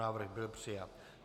Návrh byl přijat.